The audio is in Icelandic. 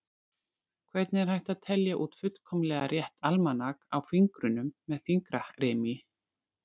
Hvernig er hægt að telja út fullkomlega rétt almanak á fingrunum með fingrarími?